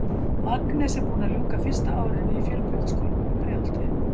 Agnes er búin að ljúka fyrsta árinu í Fjölbrautaskólanum í Breiðholti.